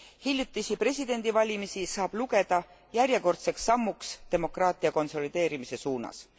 Hiljutisi presidendivalimisi saab lugeda järjekordseks sammuks demokraatia konsolideerimise suunas.